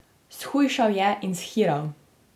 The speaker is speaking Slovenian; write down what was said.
Shujšal je in shiral.